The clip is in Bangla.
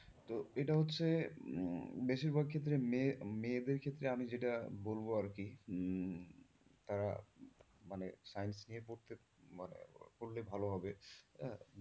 তো এটা হচ্ছে উম বেশিরভাগ ক্ষেত্রে মেয়ে মেয়েদের ক্ষেত্রে আমি যেতে বলব আরকি উম আহ মানে science নিয়ে পড়তে মানে পড়লে ভালো হবে,